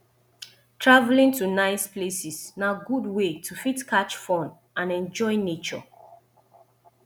travelling to nice places na good way to fit catch fun and enjoy nature